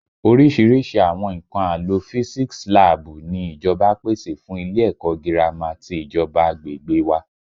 Orísìírísìí àwọn nǹkan àlò physics láàbù ni ìjọba pèsè fún ilé ẹ̀kọ́ gírámà ti ìjọba agbègbè wa